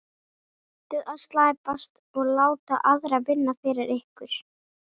Hættið að slæpast og láta aðra vinna fyrir ykkur.